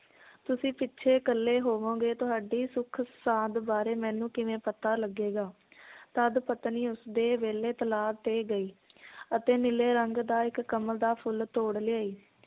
ਤੁਸੀਂ ਪਿਛੇ ਇਕੱਲੇ ਹੋਵੋਂਗੇ ਤੁਹਾਡੀ ਸੁਖ ਸਾਂਦ ਬਾਰੇ ਮੈਨੂੰ ਕਿਵੇਂ ਪਤਾ ਲੱਗੇਗਾ ਤਦ ਪਤਨੀ ਉਸਦੇ ਵੇਲੇ ਤਲਾਅ ਤੇ ਗਈ ਅਤੇ ਨੀਲੇ ਰੰਗ ਦਾ ਇੱਕ ਕਮਲ ਦਾ ਫੁਲ ਤੋੜ ਲਿਆਈ